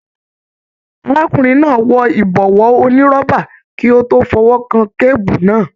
Arákùnrin náà wọ ibọwọ onírọ́bà kí o tó fọwọkàn kebu náà.